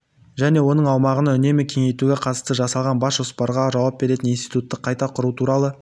және оның аумағын үнемі кеңейтуге қатысты жасалған бас жоспарға жауап беретін институтты қайта құру туралы